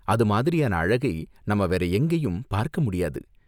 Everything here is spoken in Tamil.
அது மாதிரியான அழகை நாம வேற எங்கேயும் பார்க்க முடியாது.